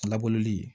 Laburuli